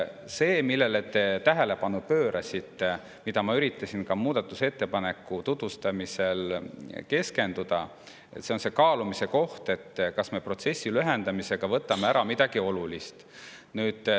See, millele te tähelepanu pöörasite ja mida ma üritasin ka muudatusettepaneku tutvustamisel, on kaalumise koht, kas me protsessi lühendamisega võtame midagi olulist ära.